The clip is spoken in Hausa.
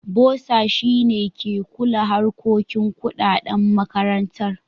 Bossa shi ne ke kula harkokin kuɗaɗan makarantar.